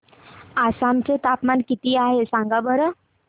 आसाम चे तापमान किती आहे सांगा बरं